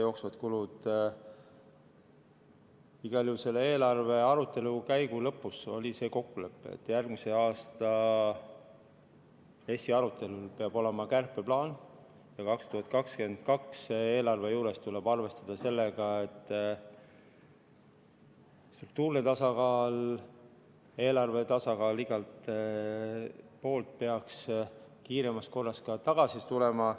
Igal juhul oli selle eelarve arutelu lõpus kokkulepe, et järgmise aasta RES-i arutelul peab olema kärpeplaan ja 2022. aasta eelarve juures tuleb arvestada sellega, et struktuurne eelarve tasakaal peaks kiiremas korras igal pool tagasi tulema.